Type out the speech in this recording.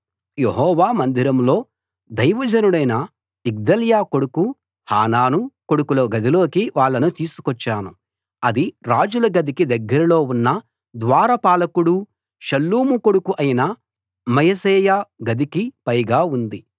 యెహోవా మందిరంలో దైవజనుడైన యిగ్దల్యా కొడుకు హానాను కొడుకుల గదిలోకి వాళ్ళను తీసుకొచ్చాను అది రాజుల గదికి దగ్గరలో ఉన్న ద్వారపాలకుడూ షల్లూము కొడుకు అయిన మయశేయా గదికి పైగా ఉంది